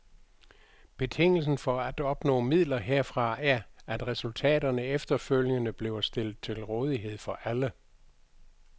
Betingelsen for at opnå midler herfra er, at resultaterne efterfølgende bliver stillet til rådighed for alle.